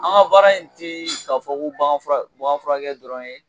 An ka baara in tɛ k'a fɔ ko baganfurakɛ dɔrɔn ye